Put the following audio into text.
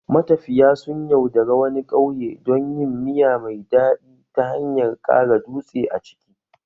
Matafiya sun yaudare wani ƙauye don yin miya mai daɗi ta hanyar ƙara dutse a ciki